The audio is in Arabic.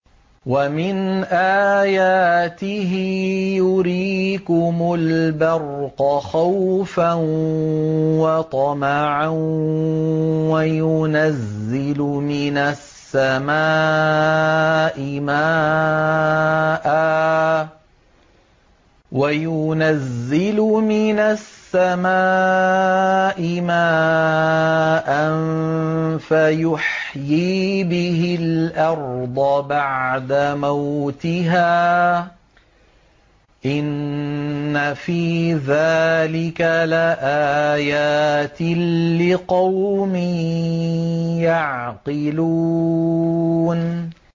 وَمِنْ آيَاتِهِ يُرِيكُمُ الْبَرْقَ خَوْفًا وَطَمَعًا وَيُنَزِّلُ مِنَ السَّمَاءِ مَاءً فَيُحْيِي بِهِ الْأَرْضَ بَعْدَ مَوْتِهَا ۚ إِنَّ فِي ذَٰلِكَ لَآيَاتٍ لِّقَوْمٍ يَعْقِلُونَ